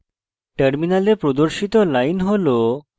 terminal প্রদর্শিত line হল